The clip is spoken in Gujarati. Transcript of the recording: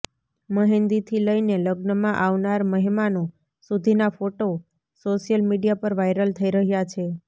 મહેંદીથી લઇને લગ્નમાં આવનાર મહેમાનો સુધીનાં ફોટો સોશિયલ મીડિયા પર વાયરલ થઇ રહ્યા છે